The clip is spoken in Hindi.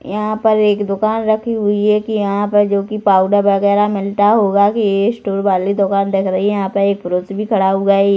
यहाँ पर एक दुकान रखी हुई है एक यहाँ पे जो कि पाउडर वगैरह मिलता होगा कि एक स्टोर वाली दुकान दिख रही है यहाँ पे एक पुरुष भी खड़ा हुआ हैं ये--